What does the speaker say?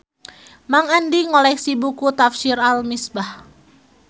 Mang Andi ngoleksi buku Tafsir Al Misbah